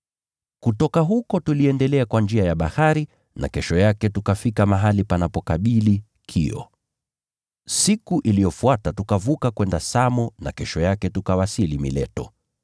Kutoka huko tuliendelea kwa njia ya bahari, na kesho yake tukafika mahali panapokabili Kio. Siku iliyofuata tukavuka kwenda Samo, na kesho yake tukawasili Mileto.